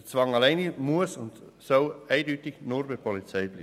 Der Zwang soll und muss eindeutig nur bei der Polizei bleiben.